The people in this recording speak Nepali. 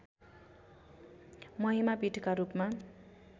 महिमा पीठका रूपमा